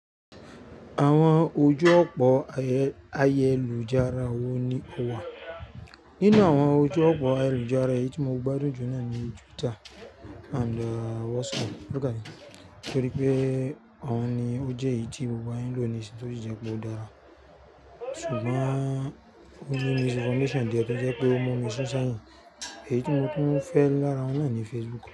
Àwọn ojú ọ̀pọ̀ ayélujára wo ni ó wà? Nínú àwọn ojú ọ̀pọ̀ ayélujára èyí tí mo gbádùn jù lọ ní Twitter and WhatsApp. Torí pé àwọn ni ó jẹ́ èyí tí gbogbo wa ń lò ní ìsinyìn tó sì jẹ́ pé ó dára. Ṣùgbọ́n ó ní misinformation díẹ̀ tó jẹ́ pé ó mu mí sún sẹ́yìn. Èyí tí mo tún fẹ́ lára wọn náà ni Facebook.